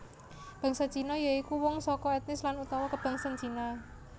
Bangsa Cina ya iku wong saka ètnis lan utawa kabangsan Cina